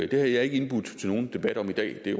det har jeg ikke indbudt til nogen debat om i dag det er